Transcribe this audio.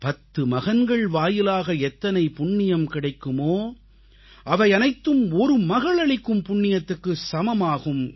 பத்து மகன்கள் வாயிலாக எத்தனை புண்ணியம் கிடைக்குமோ அவையனைத்தும் ஒரு மகளளிக்கும் புண்ணியத்துக்கு சமமாகும்